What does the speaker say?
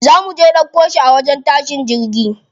Za muje ɗauko shi a wajen tashin jirgi.